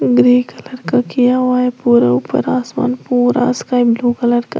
grey colour का किया हुआ है पूरा ऊपर आसमान पूरा स्काई ब्लू कलर का--